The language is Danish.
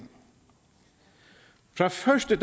fra første